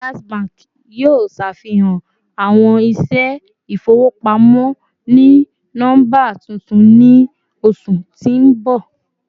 Jazz Bank yoo ṣafihan awọn iṣẹ ifowopamọ oni nọmba tuntun ni oṣu ti n bọ